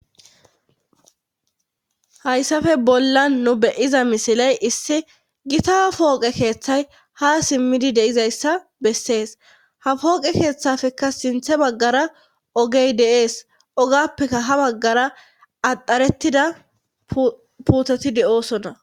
hayssafe bollan nu beyiza misiley issi gita pooqe keeththay ha simmidi deizayssa bessees ha pooqe keeththafekka sinthe baggara ogey de7ees ogappeka ha baggara adharettida puteti de7o sona